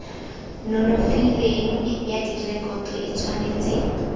nonofileng ya direkoto e tshwanetse